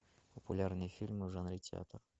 популярные фильмы в жанре театр